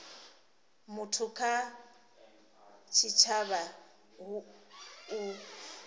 muthu kha tshitshavha hu u